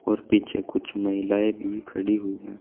और पीछे कुछ महिलाएं भी खड़ि हुई है।